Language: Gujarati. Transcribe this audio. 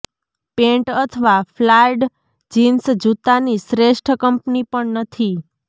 પેન્ટ અથવા ફ્લાર્ડ જિન્સ જૂતાની શ્રેષ્ઠ કંપની પણ નથી